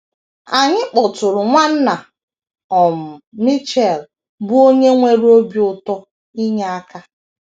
Anyị kpọtụụrụ Nwanna um Mitchell, bụ́ onye nwere obi ụtọ inye aka.